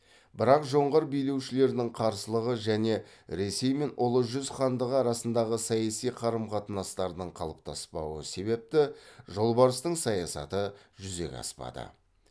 бірақ жоңғар билеушілерінің қарсылығы және ресей мен ұлы жүз хандығы арасындағы саяси қарым қатынастардың қалыптаспауы себепті жолбарыстың саясаты жүзеге аспады